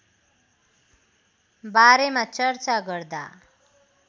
बारेमा चर्चा गर्दा